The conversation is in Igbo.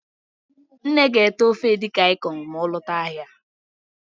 Nne ga-ete ofe edikang ikong ma ọ lọta ahịa